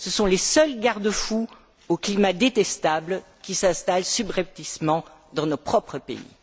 Ce sont les seuls garde fous face au climat détestable qui s'installe subrepticement dans nos propres pays.